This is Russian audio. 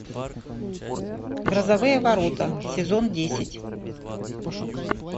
грозовые ворота сезон десять